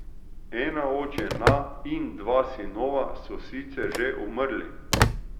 Ena od žena in dva sinova so sicer že umrli.